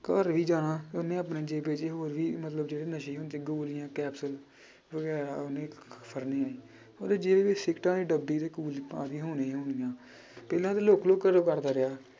ਘਰ ਵੀ ਜਾਣਾ ਉਹਨੇ ਆਪਣੇ ਜੇਬੇ 'ਚ ਹੋਰ ਵੀ ਮਤਲਬ ਜਿਹੜੇ ਨਸ਼ੇ ਹੁੰਦੇ ਗੋਲੀਆਂ ਕੈਪਸ਼ੂਲ ਉਹਦੇ ਜੇਬ ਵਿੱਚ ਸਿਗਰਟਾਂ ਦੀ ਡੱਬੀ ਉਹਦੇ ਕੋਲ ਹੋਣੀ ਹੋਣੀ ਆਂ ਪਹਿਲਾਂ ਤਾਂ ਲੁੱਕ ਲੁੱਕ ਘਰੋਂ ਕਰਦਾ ਰਿਹਾ।